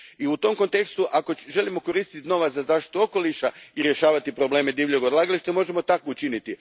I u tom kontekstu, ako želimo koristiti novac za zaštitu okoliša i rješavati probleme divljeg odlagališta, možemo to tako učiniti.